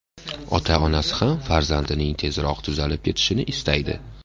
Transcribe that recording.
Ota-onasi ham farzandining tezroq tuzalib ketishini istaydi.